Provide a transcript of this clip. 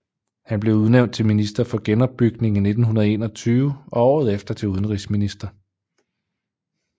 Han blev udnævnt til minister for genopbygning i 1921 og året efter til udenrigsminister